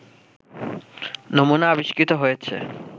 নমুনা আবিষ্কৃত হয়েছে